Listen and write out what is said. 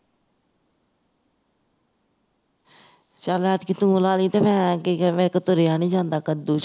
ਚਲ ਐਤਕੀਂ ਤੂੰ ਲਗਾ ਲਵੀ ਤੇ ਮੈਂ ਕੀ ਕਹਿੰਦੇ ਮੇਰੇ ਕੋਲੋਂ ਤੁਰਿਆ ਨਹੀਂ ਜਾਂਦਾ ਕਦੂ ਚ